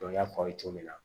n y'a fɔ aw ye cogo min na